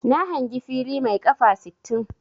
Na hangi fili mai 'kafa' sittin.